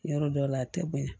Yɔrɔ dɔw la a tɛ bonya